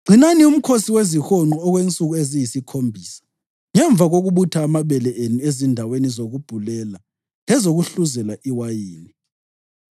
“Gcinani uMkhosi weziHonqo okwensuku eziyisikhombisa ngemva kokubutha amabele enu ezindaweni zokubhulela lezokuhluzela iwayini.